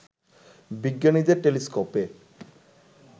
বিজ্ঞানীদের টেলিস্কোপে